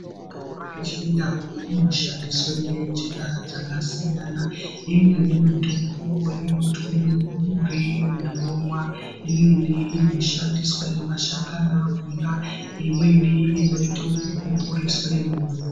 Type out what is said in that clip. Mitombo yechindau inoshandiswe ngenjira dzakasiyana. Imweni mitombo inotwiwe muduri muntu omwa, imweni inoshandiswe mashakani akhona, imweni inoite ekupupuriswe mumvura.